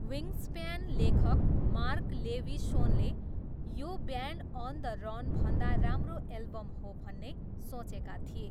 Wings fan लेखक Mark लेविसोनले यो ब्यान्ड अन द रनभन्दा राम्रो एल्बम हो भन्ने सोचेका थिए।